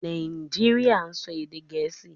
Nàìjíríà ń sọ èdè Gẹ̀ẹ́sì